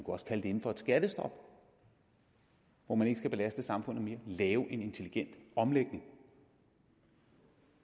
også kalde det inden for et skattestop hvor man ikke skal belaste samfundet mere lave en intelligent omlægning